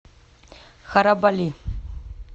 харабали